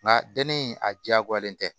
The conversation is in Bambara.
Nka denni a diyagoyalen tɛ